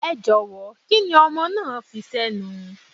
Ẹ jọ̀wọ́, kíni ọmọ náà fi sẹ́nu?